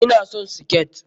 Ina son siket.